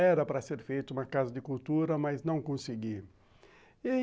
Era para ser feita uma Casa de Cultura, mas não consegui.